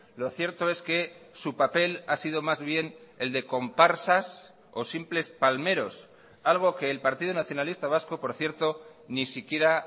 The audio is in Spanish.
lo cierto es que su papel ha sido más bien el de comparsas o simples palmeros algo que el partido nacionalista vasco por cierto ni siquiera